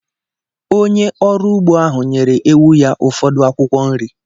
Onye ọrụ ugbo ahu nyere ewu ya ụfọdụ akwụkwọ nri